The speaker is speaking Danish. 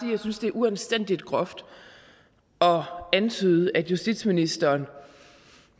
jeg synes det er uanstændigt groft at antyde at justitsministeren